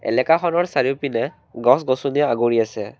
এলেকাখনৰ চাৰিওপিনে গছ-গছনিয়ে আগুৰি আছে।